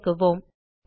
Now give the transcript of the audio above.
இயக்குவோம்